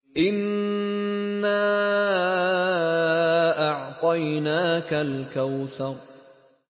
إِنَّا أَعْطَيْنَاكَ الْكَوْثَرَ